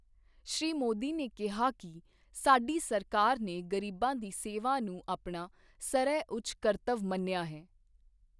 ਸ਼੍ਰੀ ਮੋਦੀ ਨੇ ਕਿਹਾ ਕਿ ਸਾਡੀ ਸਰਕਾਰ ਨੇ ਗ਼ਰੀਬਾਂ ਦੀ ਸੇਵਾ ਨੂੰ ਆਪਣਾ ਸਰਵਉੱਚ ਕਰਤੱਵ ਮੰਨਿਆ ਹੈ।